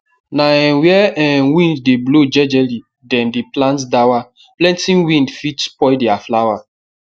na um where um wind de blow jejely dem dey plant dawa plenty wind fit spoil their flower